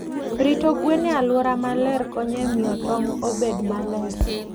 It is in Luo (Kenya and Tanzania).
Rito gwen e alwora maler konyo e miyo tong' obed maler.